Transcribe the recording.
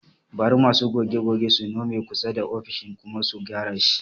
Bari masu goge-gogen su nome kusa da ofishin kuma su gyara shi